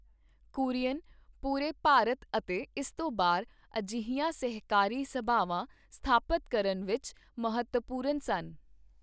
ਕੁਰੀਅਨ ਪੂਰੇ ਭਾਰਤ ਅਤੇ ਇਸ ਤੋਂ ਬਾਹਰ ਅਜਿਹੀਆਂ ਸਹਿਕਾਰੀ ਸਭਾਵਾਂ ਸਥਾਪਤ ਕਰਨ ਵਿੱਚ ਮਹੱਤਵਪੂਰਨ ਸਨ।